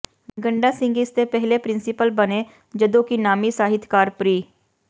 ਗੰਡਾ ਸਿੰਘ ਇਸ ਦੇ ਪਹਿਲੇ ਪ੍ਰਿੰਸੀਪਲ ਬਣੇ ਜਦੋਂ ਕਿ ਨਾਮੀ ਸਾਹਿਤਕਾਰ ਪ੍ਰਿੰ